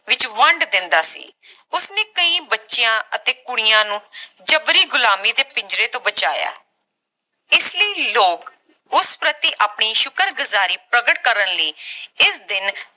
ਵਿਚ ਵੰਢ ਦਿੰਦਾ ਸੀ ਉਸਨੇ ਕਈ ਬੱਚਿਆਂ ਅਤੇ ਕੁੜੀਆਂ ਨੂੰ ਜਬਰੀ ਗੁਲਾਮੀ ਦੇ ਪਿੰਜਰੇ ਤੋਂ ਬਚਾਇਆ ਇਸਲਈ ਲੋਕ ਉਸ ਪ੍ਰਤੀ ਆਪਣੀ ਸ਼ੁਕਰਗੁਜ਼ਾਰੀ ਪ੍ਰਕਟ ਕਰਨ ਲਈ ਇਸ ਦਿਨ